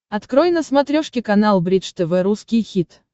открой на смотрешке канал бридж тв русский хит